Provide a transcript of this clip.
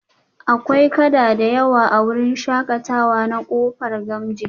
Akwai kada da yawa a wurin shakatawa na kofa gamji